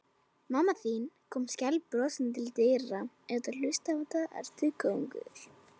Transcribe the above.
Mamma þín kom skælbrosandi til dyra.